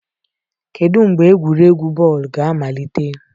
Kedu mgbe egwuregwu bọọlụ ga-amalite.